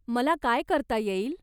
मला काय करता येईल?